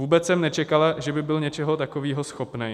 Vůbec jsem nečekala, že by byl něčeho takového schopný.